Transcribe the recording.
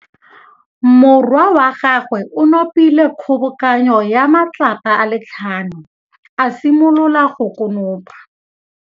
Morwa wa gagwe o nopile kgobokanô ya matlapa a le tlhano, a simolola go konopa.